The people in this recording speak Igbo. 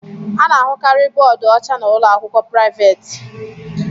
Ana ahụkarị bóódú ọcha na ụlọakwụkwọ priavaate.